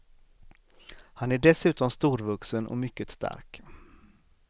Han är dessutom storvuxen och mycket stark.